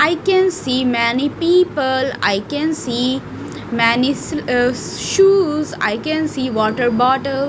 i can see many people i can see many shoes i can see water bottle.